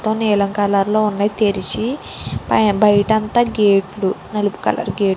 నీలం కలర్ ఉన్నాయి తెరిచి బయట అంతా గేట్లు నలుపు కలర్ గేట్లు .